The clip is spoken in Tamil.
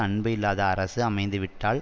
அன்பு இல்லாத அரசு அமைந்துவிட்டால்